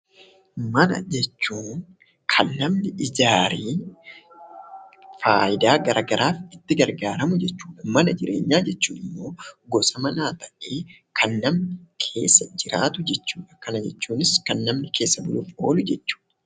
Mana jechuun kan namni ijaaree faayidaa garagaraaf itti gargaaramu jechuudha. Mana jireenyaa jechuun immoo gosa manaa ta'ee kan namni keessa jiraatu jechuudha. Kana jechuunis kan namni keessa buluuf oolu jechuudha